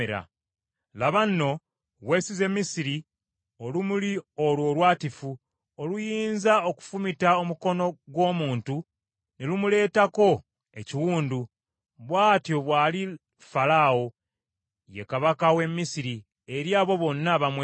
Laba nno, weesize Misiri, olumuli olwo olwatifu, oluyinza okufumita omukono gw’omuntu ne lumuleetako ekiwundu. Bw’atyo bw’ali Falaawo, ye kabaka w’e Misiri eri abo bonna abamwesiga.